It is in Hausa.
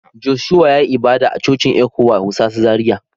Joshua ya yi ibada a Cocin Ecwa wusasa Zaria.